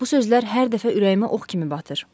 Bu sözlər hər dəfə ürəyimə ox kimi batır.